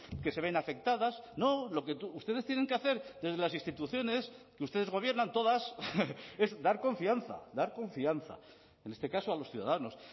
que se ven afectadas no lo que ustedes tienen que hacer desde las instituciones que ustedes gobiernan todas es dar confianza dar confianza en este caso a los ciudadanos